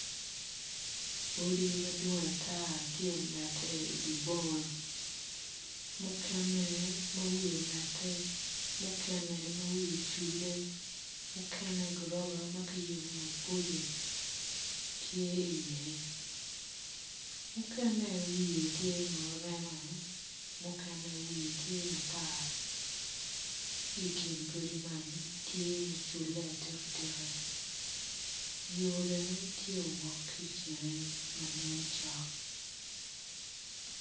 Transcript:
Odi madwong ata tye omete i di boma mukene ma wiye omete mukene ma wiye oculle mukene gorofa ma ki yubu maboco tye iye mukene wiye tye ma rema mukene wiye tye matar ki i kin godi man tye muculle atika tika yo bene tye owok ki i kine ma nen cok